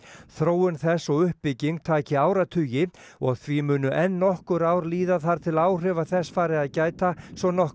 þróun þess og uppbygging taki áratugi og því muni enn nokkur ár líða þar til áhrifa þess fari að gæta svo nokkru